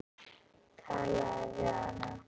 Talaðu við hana.